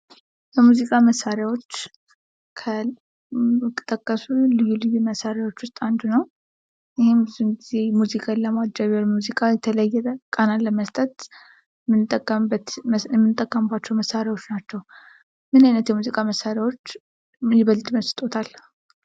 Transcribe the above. ከሙዚቃ መሳሪያዎች ከተጠቀሱት ልዩ ልዩ መሣሪያዎች ውስጥ አንዱ ነው። ይህም ብዙውን ሙዚክን ለማጀብ ሙዚቃን የተለያዩ ቃናን ለመስጠት የምንጠቀመባቸው መሣሪያዎች ናቸው። ምን አይነት የሙዚቃ መሣሪዎች ይበልጥ ይመስጦታል?